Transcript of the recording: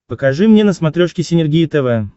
покажи мне на смотрешке синергия тв